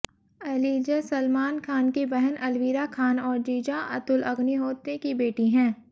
Eliza Salman Khan की बहन अलविरा खान और जीजा अतुल अग्निहोत्री की बेटी हैं